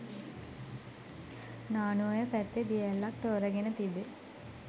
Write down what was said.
නානුඔය පැත්තේ දිය ඇල්ලක් තෝරාගෙන තිබේ